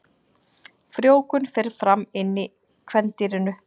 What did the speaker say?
Frjóvgun fer fram inni í kvendýrinu.